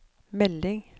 melding